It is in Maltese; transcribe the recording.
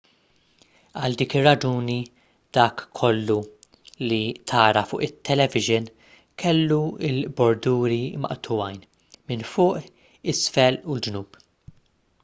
għal dik ir-raġuni dak kollu li tara fuq it-tv kellu l-borduri maqtugħin minn fuq isfel u l-ġnub